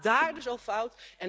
Het gaat daar dus al fout.